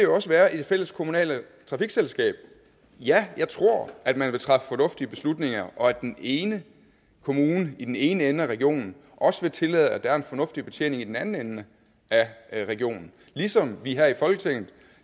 også være i det fælleskommunale trafikselskab ja jeg tror at man vil træffe fornuftige beslutninger og at den ene kommune i den ene ende af regionen også vil tillade at der er en fornuftig betjening i den anden ende af regionen ligesom vi her i folketinget